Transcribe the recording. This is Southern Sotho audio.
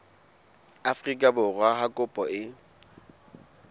afrika borwa ha kopo e